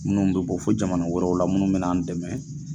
Munnu bɛ bɔ fo jamana wɛrɛw la munnu bɛ na an dɛmɛ.